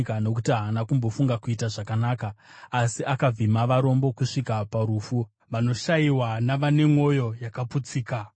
Nokuti haana kumbofunga kuita zvakanaka, asi akavhima varombo kusvika parufu, vanoshayiwa navane mwoyo yakaputsika.